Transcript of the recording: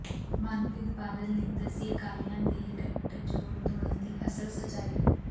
ਮਨਪ੍ਰੀਤ ਬਾਦਲ ਨੇ ਦੱਸੀ ਅਕਾਲੀਆਂ ਦੇ ਗੱਠਜੋੜ ਤੋੜਨ ਦੀ ਅਸਲ ਸੱਚਾਈ